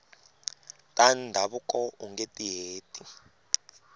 ta ndhavuko ungeti heti